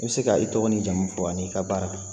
I bɛ se ka i tɔgɔ n'i jamu fɔ ani i ka baara.